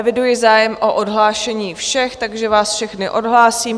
Eviduji zájem o odhlášení všech, takže vás všechny odhlásím.